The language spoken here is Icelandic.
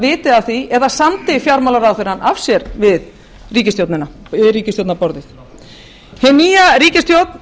viti af því eða samdi fjármálaráðherrann af sér við ríkisstjórnarborðið hin nýja ríkisstjórn